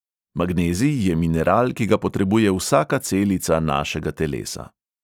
Magnezij je mineral, ki ga potrebuje vsaka celica našega telesa.